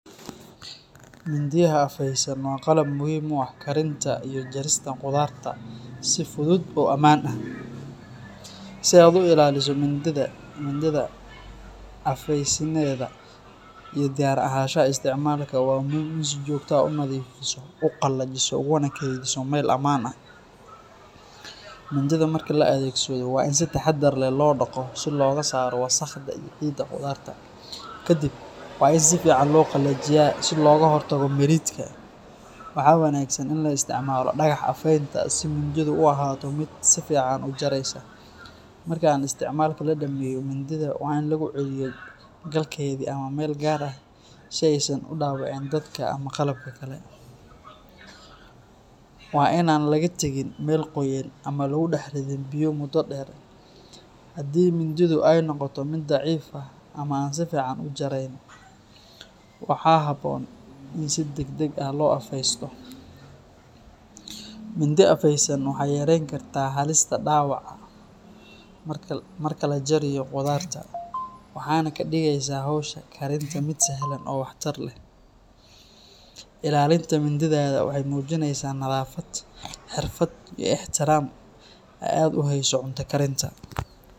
Mindiyaha afeysan waa qalab muhiim u ah karinta iyo jarista qudarta si fudud oo ammaan ah. Si aad u ilaaliso mindidaada afeysnideeda iyo diyaar ahaanshaha isticmaalka, waa muhiim in aad si joogto ah u nadiifiso, u qalajiso, uguna kaydiso meel ammaan ah. Mindida marka la adeegsado, waa in si taxaddar leh loo dhaqo si looga saaro wasakhda iyo ciidda qudarta. Kadib, waa in si fiican loo qalajiyaa si looga hortago miridhka. Waxaa wanaagsan in la isticmaalo dhagax afaynta si mindidu u ahaato mid si fiican u jaraysa. Marka aan isticmaalka la dhammeeyo, mindida waa in lagu celiyo galkeedii ama meel gaar ah si aysan u dhaawicin dadka ama qalabka kale. Waa in aan laga tagin meel qoyan ama lagu dhex ridin biyo muddo dheer. Haddii mindidu ay noqoto mid daciif ah ama aan si fiican u jarayn, waxaa habboon in si degdeg ah loo afaysto. Mindi afeysan waxay yarayn kartaa halista dhaawaca marka la jariyo qudarta, waxayna ka dhigaysaa hawsha karinta mid sahlan oo waxtar leh. Ilaalinta mindidaada waxay muujinaysaa nadaafad, xirfad, iyo ixtiraam aad u hayso cunto karinta.